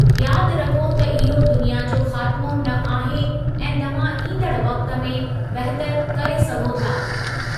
यादि रखो त इहो दुनिया जो ख़ात्मो न आहे ऐं तव्हां ईंदड़ वक़्त में बहितरु करे सघो था।